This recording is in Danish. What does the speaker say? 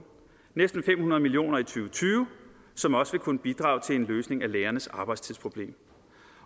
næsten fem hundrede million og tyve som også vil kunne bidrage til en løsning af lærernes arbejdstidsproblem